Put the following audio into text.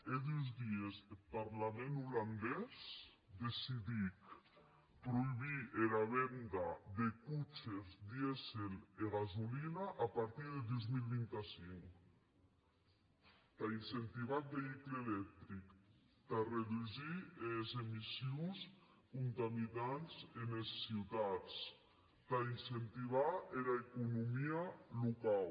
hè dus dies eth parlament olandés decidic proïbir era venda de coches dièsel e gasolina a partir deth dos mil vint cinc tà incentivar eth veïcul electric tà redusir es emissions contaminantes enes ciutats tà incentivar era economia locau